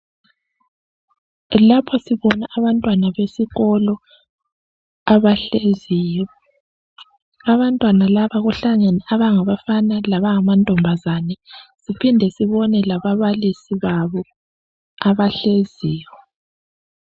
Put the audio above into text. Lapha sibona abantwana besikolo abahleziyo, abantwana laba kuhlangene abangabafana laba ngamantombazane siphinde sibone lababalisi babo abahleziyo.